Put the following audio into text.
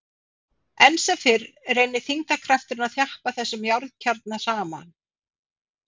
Enn sem fyrr reynir þyngdarkrafturinn að þjappa þessum járnkjarna saman.